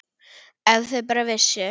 Ef þau bara vissu.